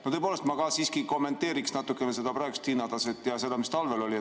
Ma tõepoolest ka kommenteeriksin natukene seda praegust hinnataset ja seda, mis talvel oli.